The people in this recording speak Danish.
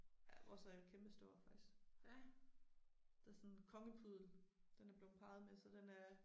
Ja vores er kæmpestor, faktisk. Det er sådan en kongepuddel, den er blevet parret med så den er